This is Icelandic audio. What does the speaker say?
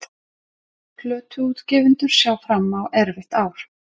Plötuútgefendur sjá fram á erfitt ár